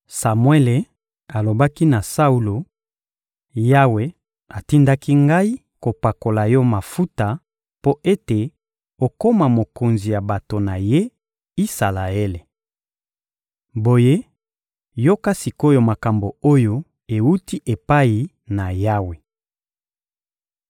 Samuele alobaki na Saulo: «Yawe atindaki ngai kopakola yo mafuta mpo ete okoma mokonzi ya bato na Ye, Isalaele. Boye, yoka sik’oyo makambo oyo ewuti epai na Yawe.